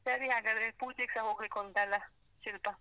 ಆ ಸರಿ ಹಾಗಾದ್ರೆ, ಪೂಜೆಗೆಸ ಹೋಗ್ಲಿಕ್ಕೆ ಉಂಟಲ್ಲ ಶಿಲ್ಪ.